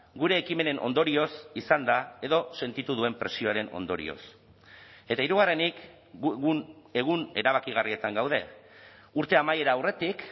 gure ekimenen ondorioz izan da edo sentitu duen presioaren ondorioz eta hirugarrenik egun erabakigarrietan gaude urte amaiera aurretik